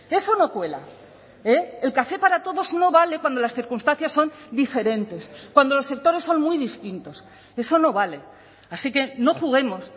eso no cuela el café para todos no vale cuando las circunstancias son diferentes cuando los sectores son muy distintos eso no vale así que no juguemos